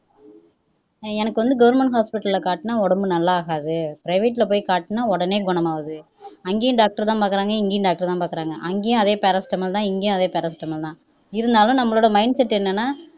எனக்கு வந்து government hospital ல காட்டுனா நல்லாகாது private ல காட்டுனா உடனே நல்லாகுது அங்கேயும் doctor தான் பாக்குறாங்க இங்கேயும் doctor தான் பாக்குறாங்க அங்கேயும் அதே paracetamol தான் இங்கயும் அதே paracetamol தான் இருந்தாலும் நம்மோட mindset என்னென்னா